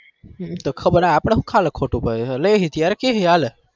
આપડ ખલ ખોટું પડે ત્યાર કહું